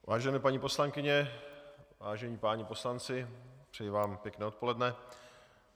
Vážené paní poslankyně, vážení páni poslanci, přeji vám pěkné odpoledne.